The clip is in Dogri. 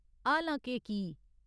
हालां के की ?